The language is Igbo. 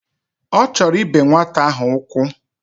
Ochoro ibe nwata ahu ukwu